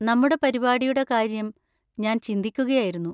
നമ്മുടെ പരിപാടിയുടെ കാര്യം ഞാൻ ചിന്തിക്കുകയായിരുന്നു.